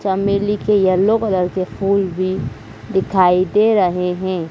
चमेली के yellow colour के फूल भी दिखाई दे रहे हैं।